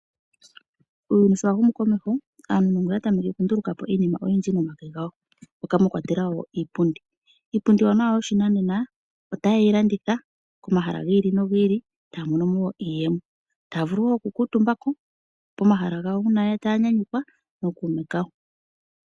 Uuyuni sho wa humu komeho aanuunongo oya tameke oku nduluka po iinima oyindji momitse dhawo. Moka mwa kwatelwa iipundi. Iipundi iiwanawa yoshinanena . Ohaye yi landitha komahala gi ili no gi ili etaya mono mo iiyemo. Otaya vulu woo oku kuutumba ko komahala gawo gomayinyanyudho.